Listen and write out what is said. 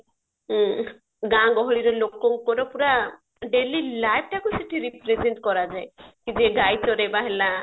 ଊମ ଗାଆଁ ଗହଳିରେ ଲୋକଙ୍କର ପୁରା ଦାଇଲି ଟା କୁ ସେଠି represent କରାଯାଏ କି ଯେ ଗାଈ ଚରେଇବା ହେଲା